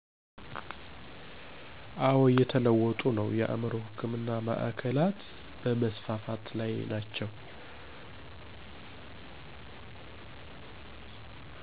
አዎ እየተለወጡ ነው የአእምሮ ህክምና ማዕከላት በመስፋፋት ላይ ናቸው።